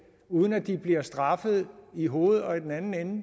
uden at de bliver straffet i hoved og i den anden ende og